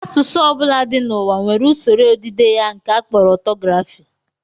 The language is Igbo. Asụsụ ọ bụla dị n'ụwa nwere usoro odide ya nke a kpọrọ ọtọgrafị